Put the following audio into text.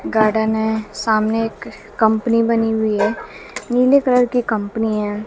Garden है सामने एक कंपनी बनी हुई है नीले कलर की कंपनी है।